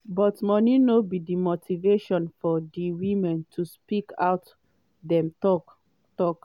but money no be di motivation for di women to speak out dem tok. tok.